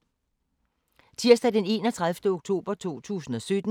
Tirsdag d. 31. oktober 2017